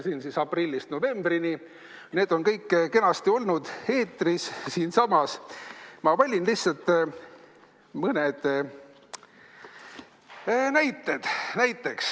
Siin siis aprillist novembrini – need on kõik kenasti siinsamas eetris olnud, ma valisin lihtsalt mõned näited.